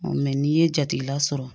n'i ye jatigila sɔrɔ